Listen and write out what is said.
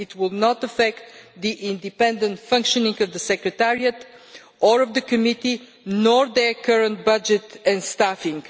It will not affect the independent functioning of the secretariat, or of the committee, nor their current budget and staffing.